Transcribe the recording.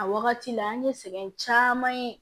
A wagati la an ye sɛgɛn caman ye